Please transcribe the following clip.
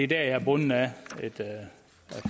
der er jeg bundet af et